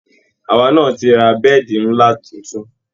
Àwa náa ti ra bẹ́ẹ̀di ńlá tuntun